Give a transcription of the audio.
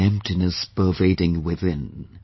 An emptiness pervading within